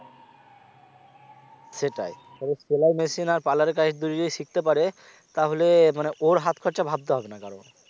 সেটাই তবে সেলাই machine আর parlour দুটোতেই শিখতে পারে তাহলে মানে ওর হাত খরচা ভাবতে হবে না কারোর